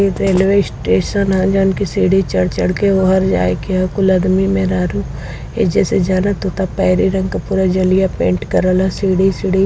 ये railway station ह जवन कि सीढ़ी चढ़ चढ़ के वोहर जाएके ह। कुल आदमी मेहरारू एहिजे से जालन। पूरा जलिया पेंट करवा ह। सीढ़ी सीढ़ी --